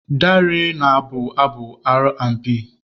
Darey na-abụ abụ Aar&Bii.